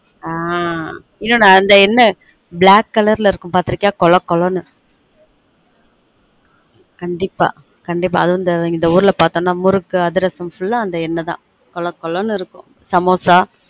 ஆஹ் இன்னொன்னு அந்த எண்ணெ black color ல இருக்கும் பாத்துருக்கீயா கொல கொலனு கண்டீப்பா கண்டீப்பா அதுவும் இந்த ஊர்ல பாத்தனொம் முறுக்கு அதிரசம் full அ அந்த எண்ணெய் தான் கொல கொலனு இருக்கும் சமோசா